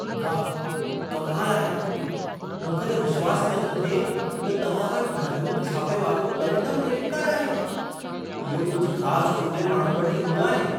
वाह! कमाल आहे! मूंखे त विश्वासु ई नथो थिए त तव्हां वटि महदूदु छापे वारो प्लेटिनम क्रेडिट कार्डु आहे। इहो कुझि ख़ास चूंडियल माण्हुनि वटि ई हूंदो आहे।